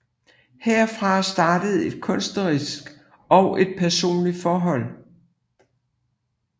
Herfra startede et kunstnerisk og et personligt forhold